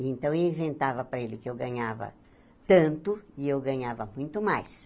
Então, eu inventava para ele que eu ganhava tanto e eu ganhava muito mais.